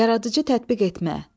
Yaradıcı tətbiq etmə.